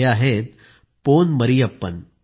हे आहेत पोन मरियप्पन